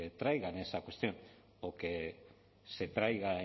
traigan esa cuestión o que se traiga